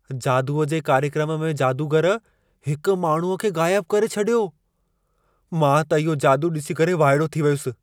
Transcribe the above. जादूअ जे कार्यक्रमु में जादूगर हिकु माण्हूअ खे ग़ाइब करे छॾियो। मां त इहो जादू ॾिसी करे वाइड़ो थी वयुसि।